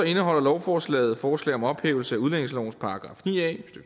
indeholder lovforslaget forslag om ophævelse af udlændingelovens § ni a